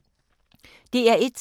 DR1